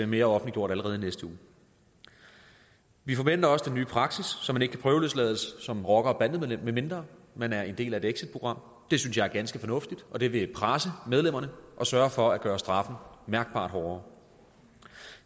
mere offentliggjort allerede i næste uge vi forventer også den nye praksis så man ikke kan prøveløslades som rocker eller bandemedlem medmindre man er en del af et exitprogram det synes jeg er ganske fornuftigt og det vil presse medlemmerne og sørge for at gøre straffen mærkbart hårdere